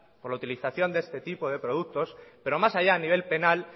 por la utilización de este tipo de productos pero más allá a nivel penal